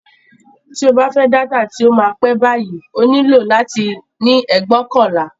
Tí o bá fẹ́ dátà tí ó máa pẹ́ báyìí, o nílò láti ní ẹgbóokànlá